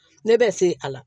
Ne bɛ se a la